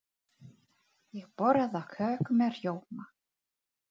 Ég borða köku með rjóma.